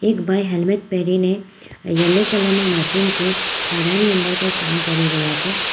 એક ભાઈ હેલ્મેટ પહેરીને યલો કલર ના મશીન થી ખાડાની અંદર કંઈ કામ કરી રહ્યા છે.